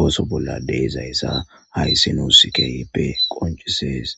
ooso bolla deezayssa hayssi nuusikeyppe qoncisees